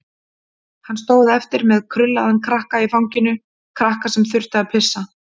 Hann stóð eftir með krullaðan krakka í fanginu, krakka sem þurfti að pissa.